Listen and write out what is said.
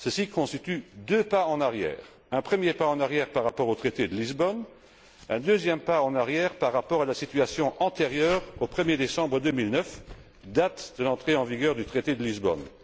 Ceci constitue deux pas en arrière un premier pas en arrière par rapport au traité de Lisbonne, un deuxième pas en arrière par rapport à la situation antérieure au 1er décembre 2009, date de l'entrée en vigueur du traité de Lisbonne.